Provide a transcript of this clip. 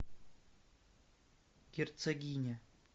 герцогиня